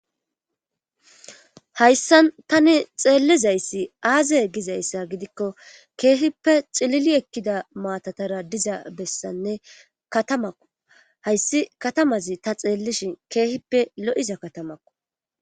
hayssan tani xeellizayssi aaze gizayssa gidikko keehippe xilili ekkida maatatara diza bessanne katamakko hayssi katamazi ta xeellishi keehippe lo7iza katamakko